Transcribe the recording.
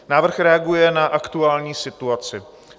Návrh reaguje na aktuální situaci.